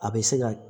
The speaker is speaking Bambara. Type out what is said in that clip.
A bɛ se ka